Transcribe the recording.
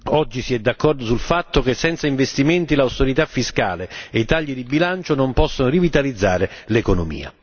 Oggi si è d'accordo sul fatto che senza investimenti l'austerità fiscale e i tagli di bilancio non possono rivitalizzare l'economia.